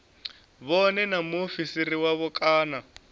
vhone na mufarisi wavho kana